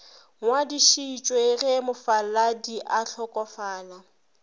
ngwadišitšwe ge mofaladi a hlokofala